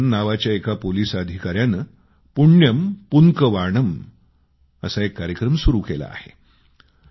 विजयन नावाच्या एका पोलिस अधिकाऱ्याने पुण्यम पुन्कवाणम असा एक कार्यक्रम सुरू केला आहे